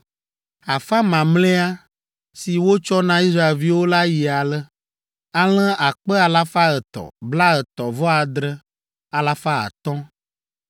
Afã mamlɛa, si wotsɔ na Israelviwo la yi ale: alẽ akpe alafa etɔ̃, blaetɔ̃-vɔ-adre, alafa atɔ̃ (337,500),